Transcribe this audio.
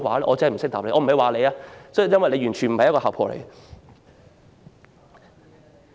我不是說你，因為你完全不是姣婆。